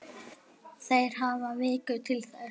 Þeir hafi viku til þess.